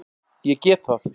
Ég get það.